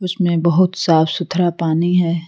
इनमें बहुत साफ सुथरा पानी है।